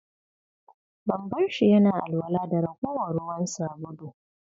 Ban bar shi yana alwala da ragowar ruwan sabulu.